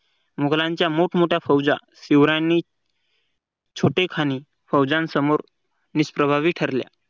मुघलांच्या मोठमोठ्या फौज्या शिवरायांनी छोटेखानी फौज्यांसमोर निष प्रभावी ठरल्या